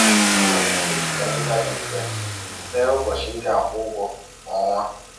Ị nwere ike iji kalenda dị mfe tee ụbọchị ị ga-akwụ ụgwọ kwa ọnwa.